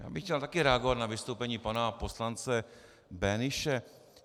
Já bych chtěl také reagovat na vystoupení pana poslance Böhnische.